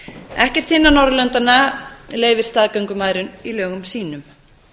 ekkert hinna norðurlandanna leyfir staðgöngumæðrun í lögum sínum